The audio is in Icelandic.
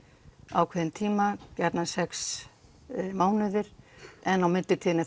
ákveðinn tíma gjarnan sex mánuði en í millitíðinni